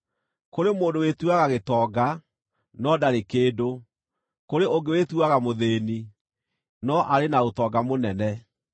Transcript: Kũrĩ mũndũ wĩtuaga gĩtonga, no ndarĩ kĩndũ; kũrĩ ũngĩ wĩtuaga mũthĩĩni, no arĩ na ũtonga mũnene.